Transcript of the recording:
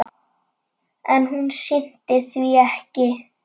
En hún sinnti því ekki.